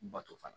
Bato fana